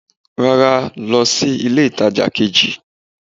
rara, lọ si ilé itaja kejí